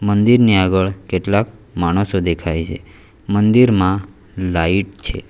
મંદિરની આગળ કેટલાક માણસો દેખાય છે મંદિરમાં લાઈટ છે.